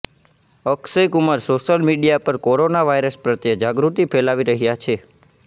Akshay Kumar social media પર corona virus પ્રત્યે જાગૃતિ ફેલાવી રહ્યા છે